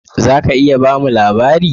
"Zaka iya bamu labari?